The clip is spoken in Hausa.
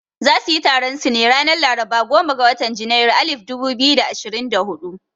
Za suyi taron su ne ranar laraba goma ga watan janairu alif dubu biyu da ashirin da hudu